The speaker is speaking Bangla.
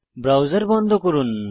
ব্রাউজার বন্ধ করুন